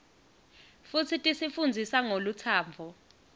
futsi tisi fundzisa ngolutsandvo